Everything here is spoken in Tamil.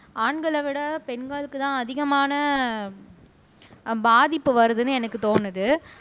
ஆண்களை விட பெண்களுக்குத்தான் அதிகமான ஆஹ் பாதிப்பு வருதுன்னு எனக்கு தோணுது